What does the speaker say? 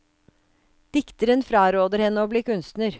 Dikteren fraråder henne å bli kunstner.